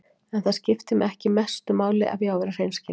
En það skiptir mig ekki mestu máli ef ég á að vera hreinskilinn.